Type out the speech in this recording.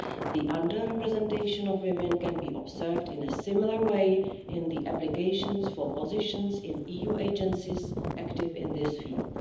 The under representation of women can be observed in a similar way in the applications for positions in EU agencies active in this field.